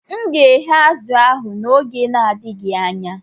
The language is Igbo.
M ga-eghe azụ̀ ahụ n'oge n'adịghị anya.